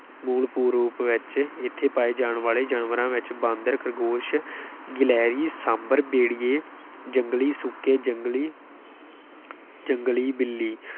ਮੂਲ ਰੂਪ ਵਿੱਚ ਇੱਥੇ ਪਾਏ ਜਾਣ ਵਾਲੇ ਜਾਨਵਰਾਂ ਵਿੱਚ ਬਾਂਦਰ, ਖਰਗੋਸ਼ ਗਿਲਹਰੀ, ਸਾਂਭਰ, ਭੇੜੀਏ, ਜੰਗਲੀ ਸੂਕੇ, ਜੰਗਲੀ ਜੰਗਲੀ ਬਿੱਲੀ